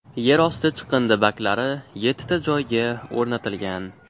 Yer osti chiqindi baklari yettita joyga o‘rnatilgan.